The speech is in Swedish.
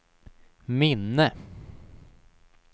minne